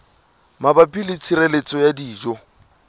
mabapi le tshireletso ya dijo